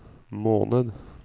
måned